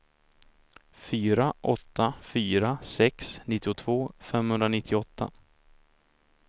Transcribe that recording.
fyra åtta fyra sex nittiotvå femhundranittioåtta